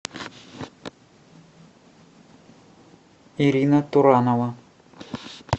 ирина туранова